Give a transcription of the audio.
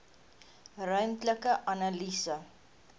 ruimtelike analise